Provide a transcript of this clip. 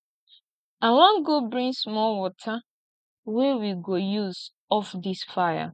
i wan go bring small water wey we go use off dis fire